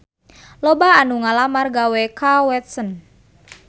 Loba anu ngalamar gawe ka Watson